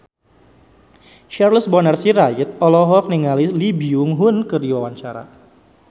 Charles Bonar Sirait olohok ningali Lee Byung Hun keur diwawancara